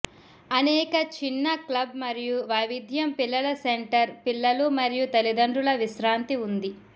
అనేక చిన్న క్లబ్ మరియు వైవిధ్యం పిల్లల సెంటర్ పిల్లలు మరియు తల్లిదండ్రుల విశ్రాంతి ఉంది